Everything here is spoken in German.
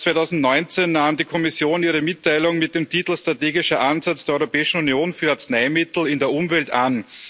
11. März 2019 nahm die Kommission ihre Mitteilung mit dem Titel Strategischer Ansatz der Europäischen Union für Arzneimittel in der Umwelt an.